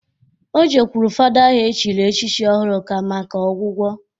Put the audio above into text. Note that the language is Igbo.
O jekwulu fada ahụ e chiri echichi ọhụrụ ka maka ọgwụgwọ